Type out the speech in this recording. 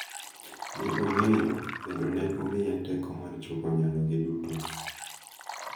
Ne ong’eyo, kendo ne omiye teko mar chopo nyalogi duto.